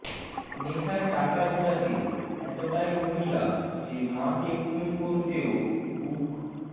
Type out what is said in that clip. নেশার টাকা জোটাতে এতটাই মরিয়া যে মাকে খুন করতেও বুক